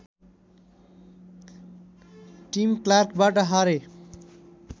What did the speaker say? team क्लार्कबाट हारे